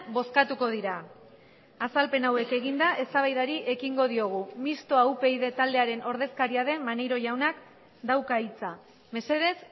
bozkatuko dira azalpen hauek eginda eztabaidari ekingo diogu mistoa upyd taldearen ordezkaria den maneiro jaunak dauka hitza mesedez